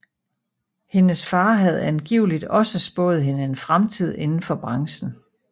Hendes far havde angiveligt også spået hende en fremtid inden for branchen